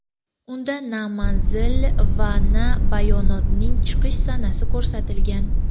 Unda na manzil va na bayonotning chiqish sanasi ko‘rsatilgan.